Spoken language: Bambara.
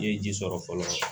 I ye ji sɔrɔ fɔlɔ